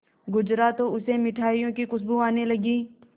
गुजरा तो उसे मिठाइयों की खुशबू आने लगी